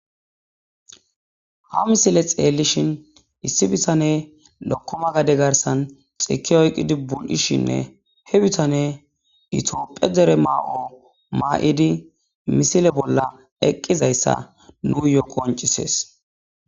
ha misile xeellishin issi bitaney lokkoma gade garsan xokka oykkidi bul7ishinne he bitane itophiya dere mayo maa7idi misile bolla eqqizayssa nuuyo qoncisees